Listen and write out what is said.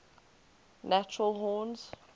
natural horns